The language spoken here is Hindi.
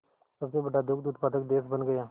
सबसे बड़ा दुग्ध उत्पादक देश बन गया